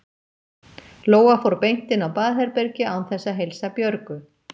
Lóa fór beint inn á baðherbergi án þess að heilsa Björgu.